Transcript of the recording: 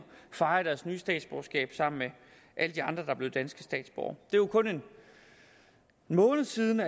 fejre deres nye statsborgerskab sammen med alle de andre der er blevet danske statsborgere det jo kun en måned siden